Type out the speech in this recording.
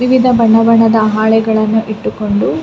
ವಿವಿಧ ಬಣ್ಣ ಬಣ್ಣದ ಹಾಳೆಗಳನ್ನು ಇಟ್ಟುಕೊಂಡು --